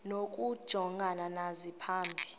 nokujongana nazo phambi